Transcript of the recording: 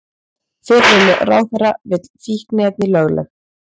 Fyrrum ráðherra vill fíkniefni lögleg